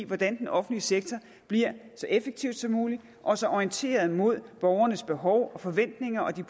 hvordan den offentlige sektor bliver så effektiv som mulig og så orienteret imod borgernes behov og forventninger og den